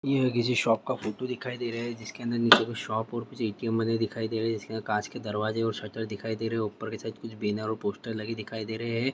यह किसी शॉप का फोटो दिखाई दे रहे है जिसके अंदर शॉप और कुछ एटीएम बने दिखाई दे रहे हैं जिसमें कांच के दरवाजे और शटर दिखाई दे रहे हैं और शायद कुछ बैनर और पोस्टर दिखाई दे रहे हैं।